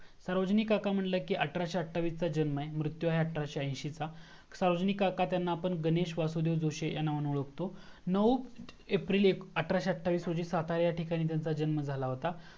सार्वजनिक काका म्हंटलं की अठराशे अठ्ठावीस चा जन्म आहे आणि मृत्यु आहे अठराशे एंशि चा सार्वजनिक काका यांना आपण गणेश वासुदेव जोशी ह्या नावाने ओळखतो नऊ एप्रिल अठराशे अठ्ठावीस रोजी सातारा येथे त्यांचा जन्म झाला होता